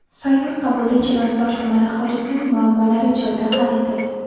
Sayyor qabulda Chilonzor tumani aholisining muammolari joyida hal etildi.